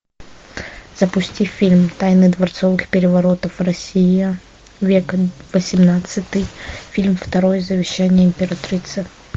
запусти фильм тайны дворцовых переворотов россия век восемнадцатый фильм второй завещание императрицы